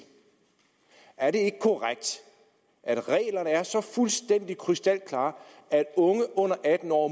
er det ikke korrekt at reglerne er så fuldstændig krystalklare at unge under atten år